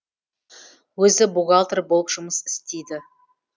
өзі бухгалтер болып жұмыс істейді